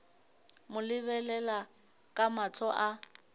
mo lebelela ka mahlo a